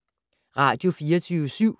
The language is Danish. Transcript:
Radio24syv